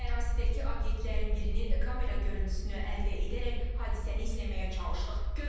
Ərazidəki obyektlərin birinin kamera görüntüsünü əldə edərək hadisəni izləməyə çalışdıq.